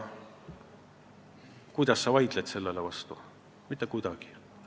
Kuidas sa sellele vastu vaidled?